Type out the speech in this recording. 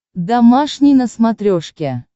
домашний на смотрешке